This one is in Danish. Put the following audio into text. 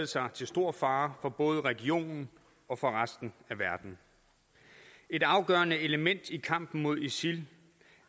sig til stor fare for både regionen og resten af verden et afgørende element i kampen mod isil